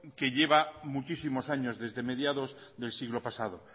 que lleva muchísimos años desde mediados del siglo pasado